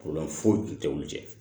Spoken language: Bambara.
foyi tun tɛ olu jɛ